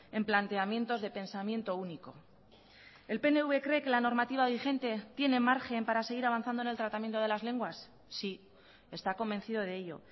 en planteamientos de pensamiento único el pnv cree que la normativa vigente tiene margen para seguir avanzando en el tratamiento de las lenguas sí está convencido de ello